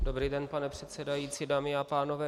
Dobrý den, pane předsedající, dámy a pánové.